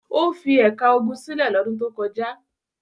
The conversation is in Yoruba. O fi ẹ̀ka ogun sílẹ̀ lọ́dún tó kọjá.